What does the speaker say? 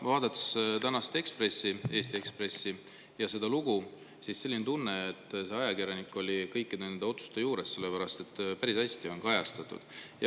tänast Eesti Ekspressi lugu, selline tunne, et see ajakirjanik oli kõikide nende otsuste juures, sellepärast et neid on päris hästi kajastatud.